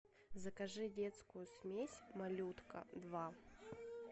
закажи детскую смесь малютка два